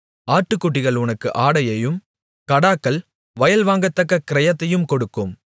ஆட்டுக்குட்டிகள் உனக்கு ஆடையையும் கடாக்கள் வயல் வாங்கத்தக்க கிரயத்தையும் கொடுக்கும்